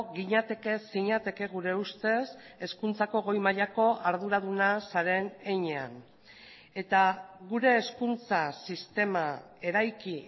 ginateke zinateke gure ustez hezkuntzako goi mailako arduraduna zaren heinean eta gure hezkuntza sistema eraiki